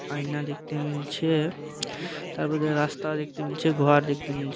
আয়না দেখতে মিলছে তারপর রাস্তা দেখতে মিলছে ঘর দেখতে মিল--